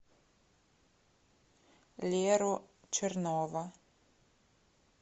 леру чернова